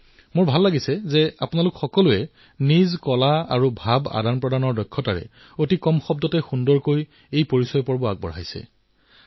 কিন্তু মোৰ ভাল লাগিছে যে আপোনালোক যিসকলে পৰিচয় দিলে তাতো আপোনালোকৰ কলা আপোনালোকৰ যোগাযোগ দক্ষতা অতিশয় কম শব্দতেই সুন্দৰৰূপত প্ৰকাশ কৰিলে